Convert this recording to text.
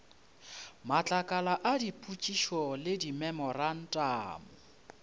matlakala a dipotšišo le dimemorantamo